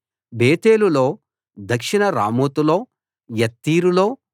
బేతేలులో దక్షిణ రామోతులో యత్తీరులో